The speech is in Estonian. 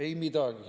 Ei midagi.